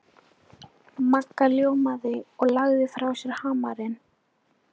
Magga ljómaði og lagði frá sér hamarinn.